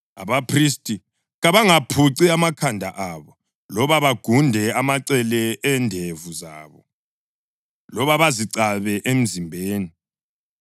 Abaphristi kabangaphuci amakhanda abo, loba bagunde amacele endevu zabo, loba bazicabe emzimbeni.